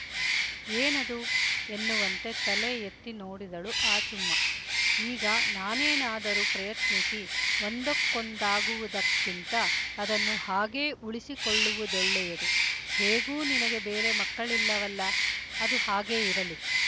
ಏನದು ಎನ್ನುವಂತೆ ತಲೆ ಎತ್ತಿ ನೋಡಿದಳು ಆಚುಮ್ಮ ಈಗ ನಾನೇನಾದರೂ ಪ್ರಯತ್ನಿಸಿ ಒಂದಕ್ಕೊಂದಾಗುವುದಕ್ಕಿಂತ ಅದನ್ನು ಹಾಗೇ ಉಳಿಸಿಕೊಳ್ಳುವುದೊಳ್ಳೆಯದು ಹೇಗೂ ನಿನಗೆ ಬೇರೆ ಮಕ್ಕಳಿಲ್ಲವಲ್ಲ ಅದು ಹಾಗೇ ಇರಲಿ